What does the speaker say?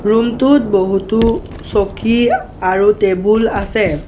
Room টোত বহুতো চকী আৰু টেবুল আছে।